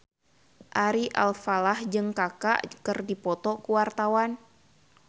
Ari Alfalah jeung Kaka keur dipoto ku wartawan